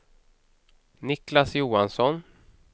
Niclas Johansson